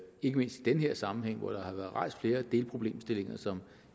ikke mindst i den her sammenhæng hvor der har været rejst flere delproblemstillinger som